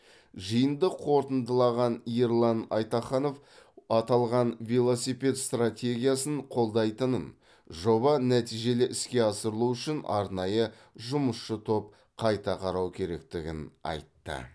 жиынды қорытындылаған ерлан айтаханов аталған велосипед стратегиясын қолдайтынын жоба нәтижелі іске асырылу үшін арнайы жұмысшы топ қайта қарау керектігін айтты